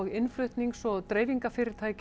innflutnings og dreifingarfyrirtæki